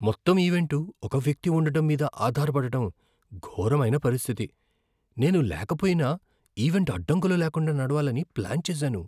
మొత్తం ఈవెంటు ఒక వ్యక్తి ఉండటం మీద ఆధారపడటం ఘోరమైన పరిస్థితి, నేను లేకపోయినా ఈవెంట్ అడ్డంకులు లేకుండా నడవాలని ప్లాన్ చేసాను.